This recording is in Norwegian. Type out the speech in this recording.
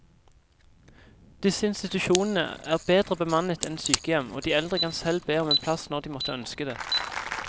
Disse institusjonene er bedre bemannet enn sykehjem, og de eldre kan selv be om en plass når de måtte ønske det.